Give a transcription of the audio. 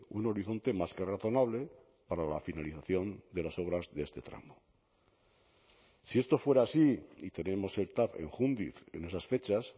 un horizonte más que razonable para la finalización de las obras de este tramo si esto fuera así y tenemos el tav en júndiz en esas fechas